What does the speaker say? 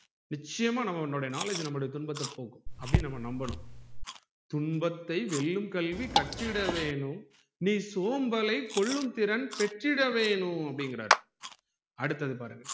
நிச்சயமா நம்மளோட knowledge நம்மலுடைய துன்பத்தை போக்கும் அப்டின்னு நம்ம நம்பனும் துன்பத்தை வெல்லும் கல்வி கற்றிட வேணும் நீ சோம்பலை கொல்லும் திறன் பெற்றிட வேணும் அப்டிங்குறாரு அடுத்தது பாருங்க